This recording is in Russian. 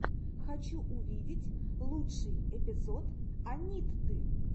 хочу увидеть лучший эпизод анитты